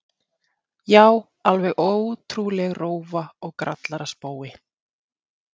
Já, alveg ótrúleg rófa og grallaraspói.